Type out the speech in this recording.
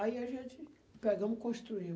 Aí a gente pegamos e construímo.